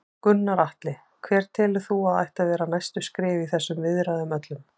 Gunnar Atli: Hver telur þú að ættu að vera næstu skref í þessum viðræðum öllum?